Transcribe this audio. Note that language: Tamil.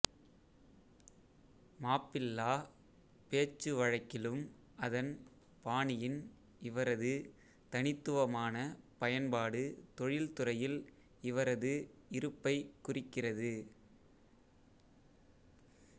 மாப்பிள்ளா பேச்சுவழக்கிலும் அதன் பாணியின் இவரது தனித்துவமான பயன்பாடு தொழில்துறையில் இவரது இருப்பைக் குறிக்கிறது